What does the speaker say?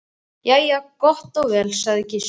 Jæja þá, gott og vel, sagði Gizur.